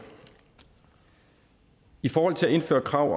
i forhold til at indføre krav